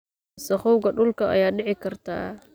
Wasakhowga dhulka ayaa dhici karta.